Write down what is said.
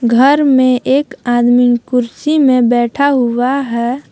घर में एक आदमी कुर्सी में बैठा हुआ है।